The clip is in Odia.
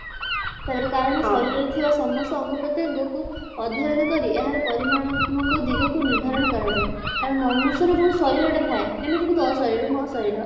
ତାପରେ କାରଣ ଶରୀରରେ ଥିବା ସମସ୍ତ ଅଙ୍ଗ ପ୍ରତ୍ୟଙ୍ଗକୁ ଅଧ୍ୟୟନ କରି ପରିମାଣାତ୍ମକ ଦିଗକୁ ନିର୍ଦ୍ଧାରଣ କରାଯାଏ କାରଣ ମନୁଷ୍ୟର ଯୋଉ ଶରୀରଟା ଥାଏ ଯେମିତିକି ତୋ ଶରୀର ମୋ ଶରୀର